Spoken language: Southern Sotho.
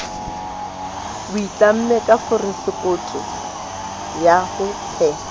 a itlamme ka forosekoto ya